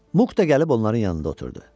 Muq da gəlib onların yanında oturdu.